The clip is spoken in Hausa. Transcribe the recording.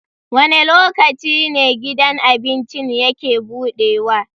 Wane lokaci ne gidan abincin yake buɗewa?